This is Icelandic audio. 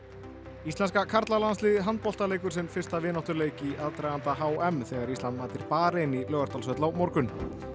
íslenska karlalandsliðið í handbolta leikur sinn fyrsta vináttuleik í aðdraganda h m þegar Ísland mætir Barein í Laugardalshöll á morgun